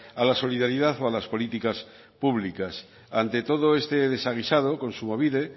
a la solidaridad o a las políticas públicas ante todo este desaguisado kontsumobide